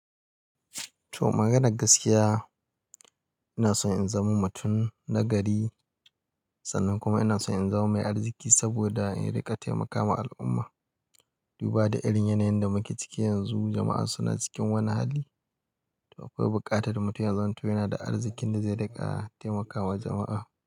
To maganar gaskiya, ina so in zama mutum na gari sannan kuma ina so in zama mai arziki saboda in riƙa taimakawa al'umma. Duba da irin yanayin da muke ciki yanzu, jama'a suna cikin wani hali. To akwai buƙatar mutumin zan to yana da arzikin da zai riƙa taimakawa jama'a.